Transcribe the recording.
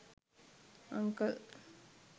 uncle